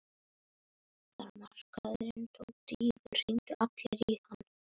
Þegar markaðurinn tók dýfur hringdu allir í hann.